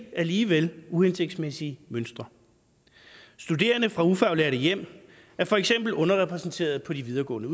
alligevel uhensigtsmæssige mønstre studerende fra ufaglærte hjem er for eksempel underrepræsenteret på de videregående